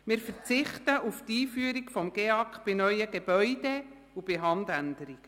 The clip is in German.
Wir verzichten auf die Einführung des GEAK bei neuen Gebäuden und bei Handänderungen.